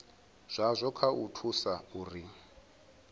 zwazwo kha u thusa uri